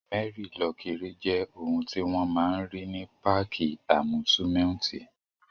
Mẹ́rí-lọ-kiri jẹ́ ohun tí wọ́n máa n rí ní páàkì àmúsúmẹ́úntì